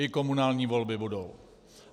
I komunální volby budou.